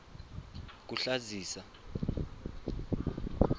kuhlazisa